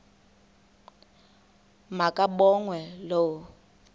ma kabongwe low